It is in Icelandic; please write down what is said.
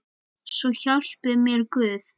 Svo hjálpi mér Guð.